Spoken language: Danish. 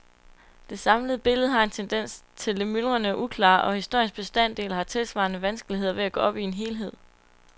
Det samlede billede har en tendens til det myldrende og uklare, og historiens bestanddele har tilsvarende vanskeligheder ved at gå op i en helhed.